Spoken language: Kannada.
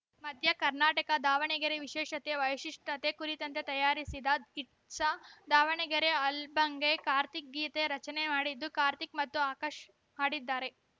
ಮಧ್ಯ ಕರ್ನಾಟಕ ದಾವಣಗೆರೆ ವಿಶೇಷತೆ ವೈಶಿಷ್ಚ್ಯತೆ ಕುರಿತಂತೆ ತಯಾರಿಸಿದ ಇಟ್ಸ್‌ ದಾವಣಗೆರೆ ಆಲ್ಬಂಗೆ ಕಾರ್ತಿಕ್‌ ಗೀತೆ ರಚನೆ ಮಾಡಿದ್ದು ಕಾರ್ತಿಕ್‌ ಮತ್ತು ಆಕಾಶ್‌ ಹಾಡಿದ್ದಾರೆ